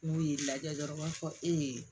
N'u y'i lajɛ dɔrɔn u b'a fɔ